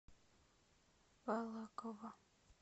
балаково